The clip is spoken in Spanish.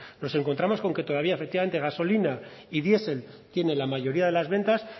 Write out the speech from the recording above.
nos encontramos con que todavía efectivamente gasolina y diesel tienen la mayoría de las ventas